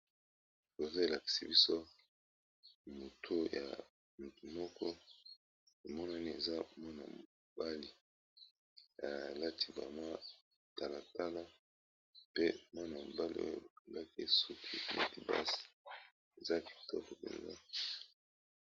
Photo oyo elakisi biso mwa mutu yamoto mokoboye aza mwana mobali alati pe matala tala namoni pe bakangiya suki kitoko